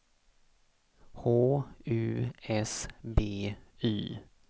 H U S B Y